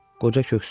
Qoca köksünü ötürdü.